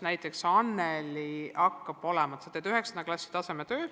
Näiteks sa teed 9. klassi tasemetöö.